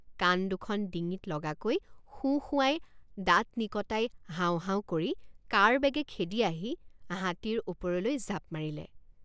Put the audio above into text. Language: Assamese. কাণ দুখন ডিঙিত লগাকৈ সোঁ সোঁৱাই দাঁত নিকটাই হাও হাও কৰি কাঁড়বেগে খেদি আহি হাতীৰ ওপৰলৈ জাপ মাৰিলে।